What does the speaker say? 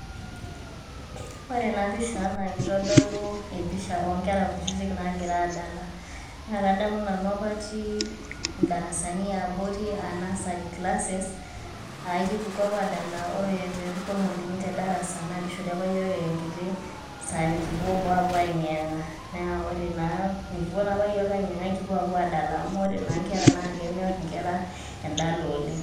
Ore ena pisha naa keitodolu empisha oo nkera kutitik naagira aadala. Naa kadamu nanu apa atii indarasani ebori aa nursery classes aa ekipuku apa aadala ore pee epuku olmalimui te darasa naa keishori apa iyiok enkitok saa nikupuo boo aapuo aayeng'iyeng'a. Naa ore naa mikipuo apa iyiok aayeng'iyeng'a ekipuo aadala amu ore naa nkera naa kenyorr endala oleng.